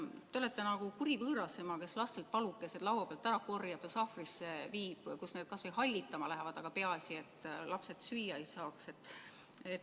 Te olete nagu kuri võõrasema, kes lastelt palukesi laua pealt ära korjab ja sahvrisse viib, kus need kas või hallitama lähevad, aga peaasi, et lapsed süüa ei saaks.